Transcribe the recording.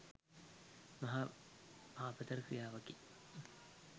මහා පාපතර ක්‍රියාවකි,